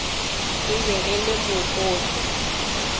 e be e le mokoto